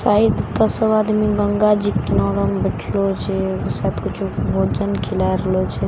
शायद दसो आदमी गंगाजी किनरो मे बइठलो छे आ शायद कुछ भोजन खिला रहलो छे --